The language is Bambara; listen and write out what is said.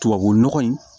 Tubabu nɔgɔ in